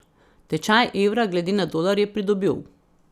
Tečaj evra glede na dolar je pridobil.